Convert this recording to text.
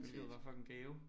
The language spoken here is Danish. Hvilket var fucking gave